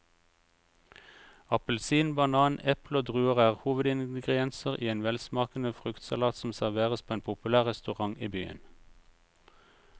Appelsin, banan, eple og druer er hovedingredienser i en velsmakende fruktsalat som serveres på en populær restaurant i byen.